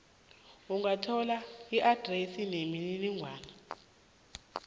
ungathola iadresi nemininingwana